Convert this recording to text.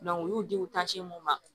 u y'u di u mun ma